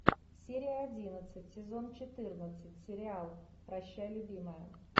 серия одиннадцать сезон четырнадцать сериал прощай любимая